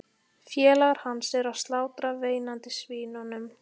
Félagar hans eru að slátra veinandi svínunum.